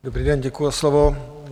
Dobrý den, děkuji za slovo.